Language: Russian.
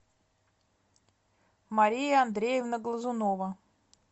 мария андреевна глазунова